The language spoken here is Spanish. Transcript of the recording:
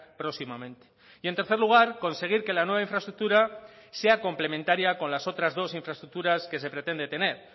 próximamente y en tercer lugar conseguir que la nueva infraestructura sea complementaria con las otras dos infraestructuras que se pretende tener